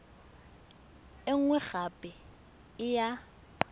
e nngwe gape e ya